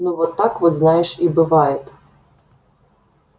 ну вот так вот знаешь и бывает